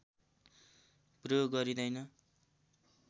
प्रयोग गरिँदैन